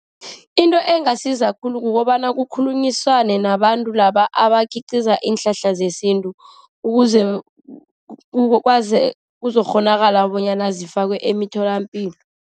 Into engasiza khulu kukobana kukhulunyiswane nabantu laba abakhiqiza iinhlahla zesintu, ukuze kuzokghonakala bonyana zifakwe emtholapilo.